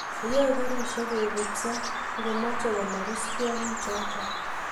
yae karishek kobutso ngomeche komarus tyongichoto